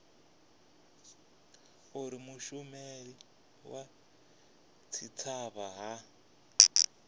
uri mushumeli wa tshitshavha a